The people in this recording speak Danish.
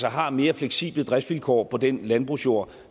har mere fleksible driftsvilkår på den landbrugsjord